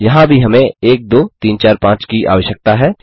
यहाँ भी हमें 1 2 3 4 5 की आवश्यकता है